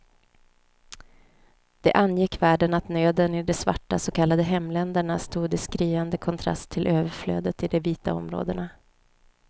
Det angick världen att nöden i de svarta så kallade hemländerna stod i skriande kontrast till överflödet i de vita områdena.